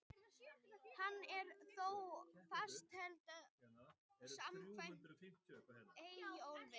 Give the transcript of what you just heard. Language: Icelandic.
Hann er þó fastheldinn samkvæmt Eyjólfi.